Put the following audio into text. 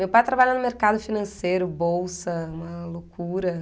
Meu pai trabalha no mercado financeiro, bolsa, uma loucura.